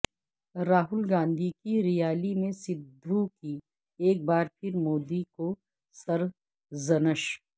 راہول گاندھی کی ریالی میں سدھو کی ایک بار پھر مودی کو سرزنش